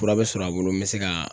Fura bɛ sɔr'a bolo n bɛ se ka